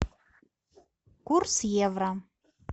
курс евро